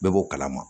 Bɛɛ b'o kalama